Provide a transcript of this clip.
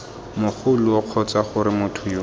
mogoloo kgotsa gore motho yo